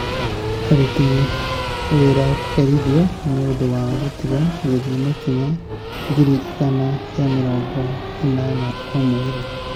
Aruti Wĩra Kũherithio nĩ Ũndũ wa Gũtiga Gũthiĩ Makinya ngiri igana rĩa mĩrongo ĩnana o Mweri